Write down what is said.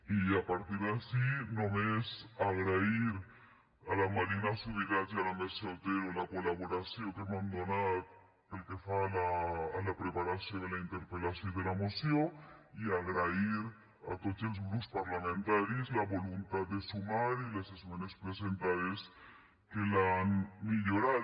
i a partir d’ací només agrair a la marina subirats i a la mercè otero la col·laboració que m’han donat pel que fa a la preparació de la interpel·lació i de la moció i agrair a tots els grups parlamentaris la voluntat de sumar i les esmenes presentades que l’han millorat